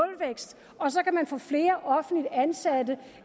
flere offentligt ansatte